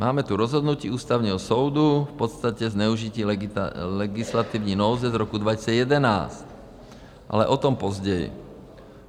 Máme tu rozhodnutí Ústavního soudu k podstatě zneužití legislativní nouze z roku 2011, ale o tom později.